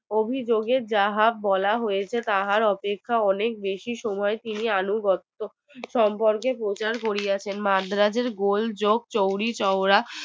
অভিযোগে যাহা বলা হৈছে তাহার অপেক্ষা অনেক বেশি সময় পেরিয়ে আনুগত্য সম্পর্কের প্রচার করিয়াছে মাদ্রাজের গোল যোগ চৌরি চৌরা